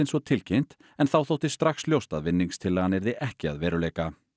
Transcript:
svo tilkynnt en þá þótti strax ljóst að yrði ekki að veruleika